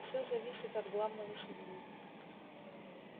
все зависит от главного судьи